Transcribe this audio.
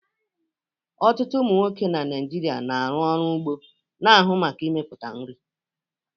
Ọtụtụ ụmụ nwoke Naijiria na-arụ ọrụ ugbo, na-ahụ maka mmepụta nri.